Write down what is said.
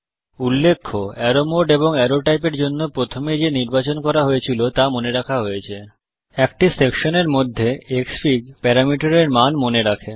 উল্লেখ্য arrow mode এবং arrow type এর জন্যে প্রথমে যে নির্বাচন করা হয়েছিল তা মনে রাখা হয়েছে একটি সেকশনের মধ্যে ক্সফিগ প্যারামিটার এর মান মনে রাখে